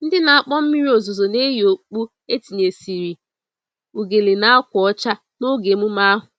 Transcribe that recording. Ndị na-akpọ mmiri ozuzo na-eyi okpu etinyesịrị ugele na ákwà ọcha n'oge emume ahụ.